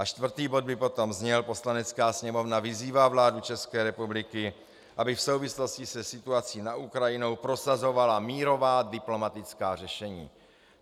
A čtvrtý bod by potom zněl: "Poslanecká sněmovna vyzývá vládu České republiky, aby v souvislosti se situací na Ukrajině prosazovala mírová diplomatická řešení."